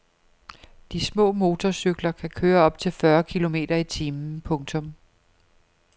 De små motorcykler kan køre op til fyrre kilometer i timen. punktum